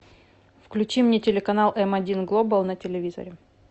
включи мне телеканал м один глобал на телевизоре